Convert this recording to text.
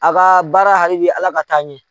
A ka baara halibi Ala k'a taa ɲɛ.